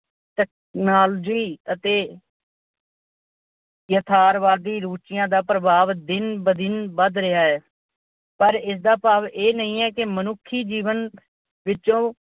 Technology ਅਤੇ ਯਥਾਰਥਵਾਦੀ ਰੁਚੀਆਂ ਦਾ ਪ੍ਰਭਾਵ ਦਿਨ-ਬਰ-ਦਿਨ ਵੱਧ ਰਿਹਾ ਹੈ। ਪਰ ਇਸ ਦਾ ਭਾਵ ਇਹ ਨਹੀਂ ਹੈ ਕਿ ਮਨੁੱਖੀ ਜੀਵਨ ਵਿੱਚੋਂ